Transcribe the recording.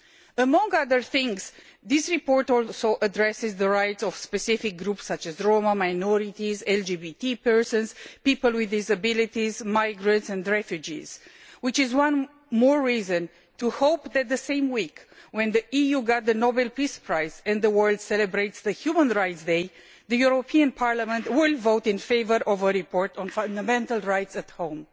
Among other things, this report also addresses the rights of specific groups such as Roma minorities, LGBT persons, people with disabilities, migrants and refugees, which is one more reason to hope that, in the same week when the EU received the Nobel Peace Prize and the world celebrates Human Rights Day, the European Parliament will vote in favour of a report on fundamental rights at home.